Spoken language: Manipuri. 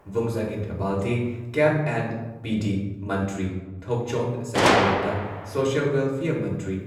Vungzagin Valte, CAF and PD ꯃꯟꯇ꯭ꯔꯤ ꯊꯣꯛꯆꯣꯝ ꯁꯇ꯭ꯌꯕꯔꯇ, ꯁꯣꯁꯤꯌꯦꯜ ꯋꯦꯜꯐꯤꯌꯔ ꯃꯟꯇ꯭ꯔꯤ